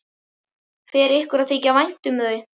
Fer ykkur að þykja vænt um þau?